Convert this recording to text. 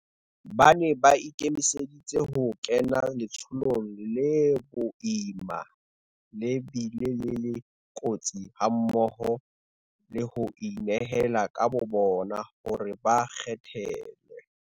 Ba ne ba ikemiseditse ho kena letsholong le boima le bile le le kotsi hammoho le ho inehela ka bobona hore ba kgethelwe.